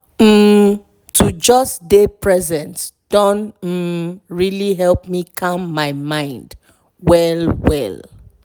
um to just dey present don um really help me calm my mind well well.